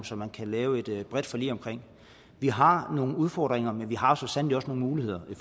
som man kan lave et bredt forlig omkring vi har nogle udfordringer men vi har så sandelig også nogle muligheder i